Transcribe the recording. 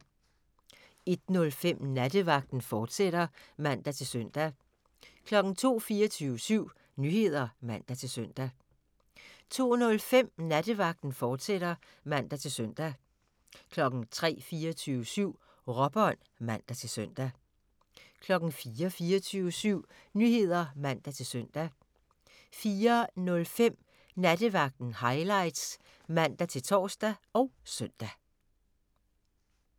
01:05: Nattevagten, fortsat (man-søn) 02:00: 24syv Nyheder (man-søn) 02:05: Nattevagten, fortsat (man-søn) 03:00: 24syv Nyheder (man-søn) 03:05: Råbånd (man-søn) 04:00: 24syv Nyheder (man-søn) 04:05: Nattevagten Highlights (man-tor og søn)